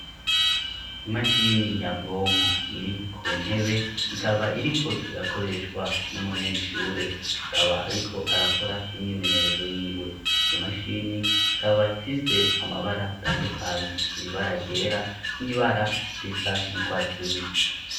Imashini nyabwonko iri ku ntebe ikaba iriko irakoreshwa n'umunyeshure kaba ariko arakora imyimenyerezo y'iwe iyo mashini ikaba ifise amabara atandukanye ibara ryra n'ibara risa n'ugwatsi rubisi.